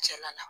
Cɛla la